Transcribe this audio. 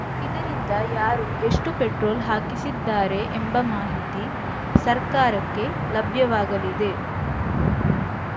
ಇದರಿಂದ ಯಾರು ಎಷ್ಟುಪೆಟ್ರೋಲ್‌ ಹಾಕಿಸಿದ್ದಾರೆ ಎಂಬ ಮಾಹಿತಿ ಸರ್ಕಾರಕ್ಕೆ ಲಭ್ಯವಾಗಲಿದೆ